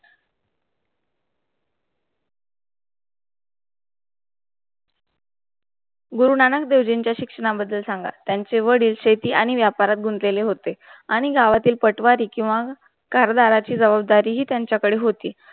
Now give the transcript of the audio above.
गुरुनानक देवजींच्या चा शिक्षणा बद्दल सांगा, त्यांची वडील शेती आणि व्यापारात गुंडलेले होते आणि गावरतील पटवारी क्यू आ कारधाराची जवाबद्धरी हि त्यांचा काढा होती.